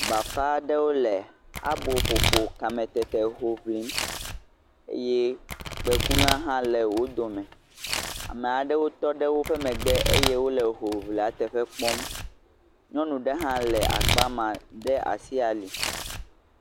Bafa ɖewo le abo ƒoƒo kame tete ho ƒlim, eye kpē ku na hã le wo dome, amaɖewo tɔ ɖe woƒe megbe eye wole hoʋiʋlia teƒe kpɔm, nyɔnu ɖe hã le akpa ma, de asi ali.